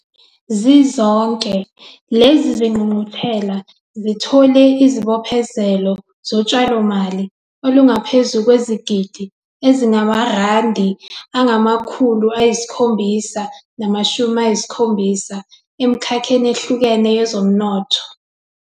Zizonke, lezi zingqungquthela zithole izibophezelo zotshalomali olungaphezu kwezigidigidi ezingama-R770 emikhakheni ehlukene yezomnotho.